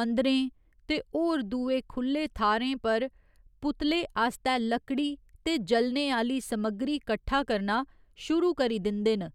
मंदरें ते होर दुये खु'ल्ले थाह्‌रें पर पुतले आस्तै लकड़ी ते जलने आह्‌ली समग्गरी कट्ठा करना शुरू करी दिंदे न।